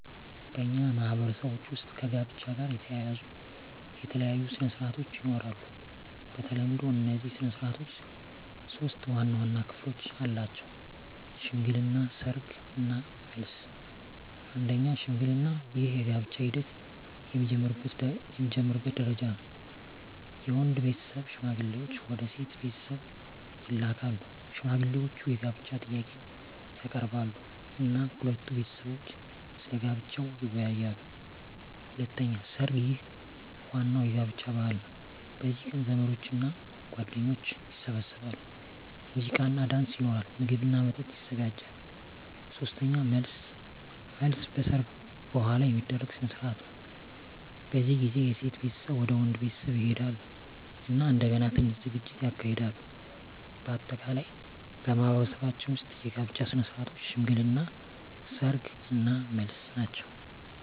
በእኛ ማህበረሰቦች ውስጥ ከጋብቻ ጋር የተያያዙ የተለያዩ ሥነ ሥርዓቶች ይኖራሉ። በተለምዶ እነዚህ ሥነ ሥርዓቶች ሶስት ዋና ዋና ክፍሎች አላቸው፦ ሽምግልና፣ ሰርግ እና መልስ። 1. ሽምግልና ይህ የጋብቻ ሂደት የሚጀምርበት ደረጃ ነው። የወንድ ቤተሰብ ሽማግሌዎችን ወደ ሴት ቤተሰብ ይልካሉ። ሽማግሌዎቹ የጋብቻ ጥያቄን ያቀርባሉ እና ሁለቱ ቤተሰቦች ስለ ጋብቻው ይወያያሉ። 2. ሰርግ ይህ ዋናው የጋብቻ በዓል ነው። በዚህ ቀን ዘመዶችና ጓደኞች ይሰበሰባሉ፣ ሙዚቃና ዳንስ ይኖራል፣ ምግብና መጠጥ ይዘጋጃል። 3. መልስ መልስ በሰርግ በኋላ የሚደረግ ሥነ ሥርዓት ነው። በዚህ ጊዜ የሴት ቤተሰብ ወደ ወንድ ቤተሰብ ይሄዳሉ እና እንደገና ትንሽ ዝግጅት ይካሄዳል። በአጠቃላይ በማኅበረሰባችን ውስጥ የጋብቻ ሥነ ሥርዓቶች ሽምግልና፣ ሰርግ እና መልስ ናቸው።